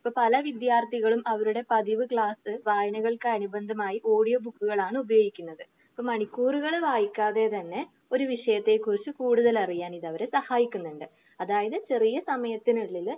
ഇപ്പൊ പല വിദ്യാർത്ഥികളും അവരുടെ പതിവ് ക്ലാസ്സ്‌ വായനകൾക്ക് അനുബന്ധമായി ഓഡിയോ ബുക്കുകൾ ആണ് ഉപയോഗിക്കുന്നത്. അപ്പൊ മണിക്കൂറുകൾ വായിക്കാതെ തന്നെ ഒരു വിഷയത്തെ കുറിച്ച് കൂടുതൽ അറിയാന് ഇത് അവര് സഹായിക്കുന്നുണ്ട്. അതായത് ചെറിയ സമയത്തിന് ഉള്ളിൽ